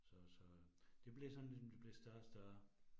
Så så det blev sådan ligesom det blev større og større